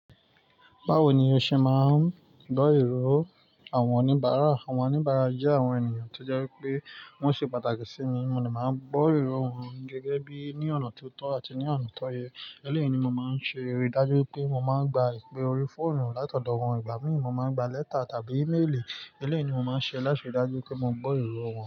Báwo ni o ṣe máa ń gbọ́ ìrọ́ àwọn oníbàárà? Àwọn oníbàárà jẹ́ àwọn ènìyàn tó jẹ́ wípé wọ́n ṣe pàtàkì sí mi, mo de máa ń gbọ́ ìrọ́ wọn gẹ́gẹ́ bí ní ọ̀nà tó tọ́ àti ní ọ̀nà tó yẹ. Eleyi ni mo máa ń ṣe ri dájú pé mo máa ń gba ìpè orí fóònù látọ̀dọ̀ wọ́n. Ìgbà mìíràn, mo máa ń gba lẹ́tà tàbí ímélì. Eleyii ni mo máa ń ṣe láti rí dájú pé mo gbọ́ ìro wọn.